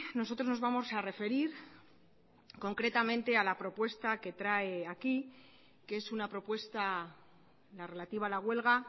nosotros nos vamos a referir concretamente a la propuesta que trae aquí que es una propuesta la relativa a la huelga